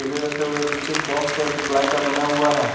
केले रखे हुए हैं पीछे एक बॉक्स है जो प्लाई का बना हुआ है।